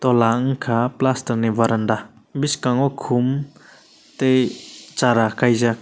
ola unkkha plaster ni varanda bskango khum tai chara khaijak.